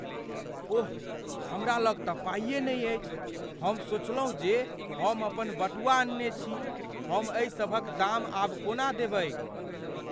ओह! हमरा लग तँ पाइए नहि अछि, हम सोचलहुँ जे हम अपन बटुआ अनने छी। हम एहि सभक दाम आब कोना देबैक?